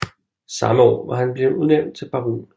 Samme år var han bleven udnævnt til baron